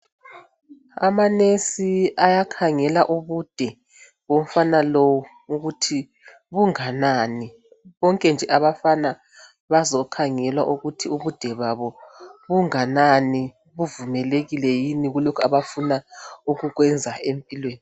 Amanurse ayakhangela ubude bomfana lowu ukuthi bunganani. Bonke abafana bazokhangelwa ukuthi ubude babo bungakanani buvumelekile yini kulokhu baafuna ukukwenza empilweni